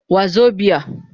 Wazobia